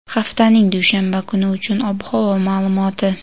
haftaning dushanba kuni uchun ob-havo ma’lumoti.